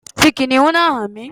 Fi kìnnìún náà hàn mí.